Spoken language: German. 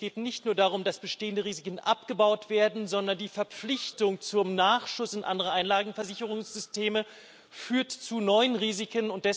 Es geht nicht nur darum, dass bestehende Risiken abgebaut werden, sondern die Verpflichtung zum Nachschuss in andere Einlagenversicherungssysteme führt zu neuen Risiken.